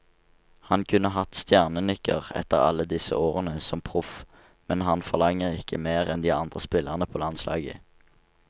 Han kunne hatt stjernenykker etter alle disse årene som proff, men han forlanger ikke mer enn de andre spillerne på landslaget.